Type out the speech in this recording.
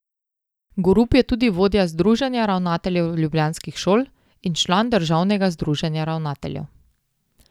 Gorup je tudi vodja združenja ravnateljev ljubljanskih šol in član državnega združenja ravnateljev.